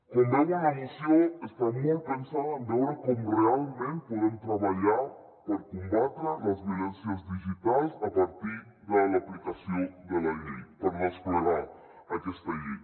com veuen la moció està molt pensada en veure com realment podem treballar per combatre les violències digitals a partir de l’aplicació de la llei per desplegar aquesta llei